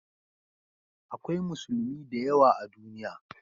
Akwai Musulmi da yawa a duniya